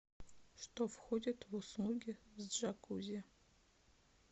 что входит в услуги с джакузи